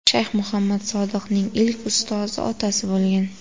Shayx Muhammad Sodiqning ilk ustozi otasi bo‘lgan.